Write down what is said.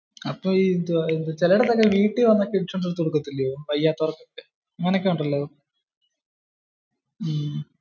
അപ്പോ ചില ഇടത്തൊക്കെ വീട്ടിൽ വന്നൊക്കെ ഇൻഷുറൻസ് എടുത്ത് കൊടുക്കത്തില്ലയോ വയ്യാത്തവർക്കൊക്കെ. അങ്ങനെ ഒക്കെ ഉണ്ടല്ലോ.